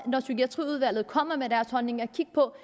når psykiatriudvalget kommer med deres holdninger kigge på